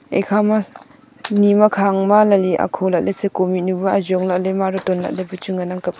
ekhama nima khang ma ley leli akho lahley seko mihnyu bu ajong lahley maro ton lahley bu chu ngan ang kap.